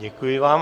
Děkuji vám.